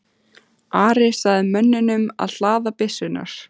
Ari sagði mönnunum að hlaða byssurnar.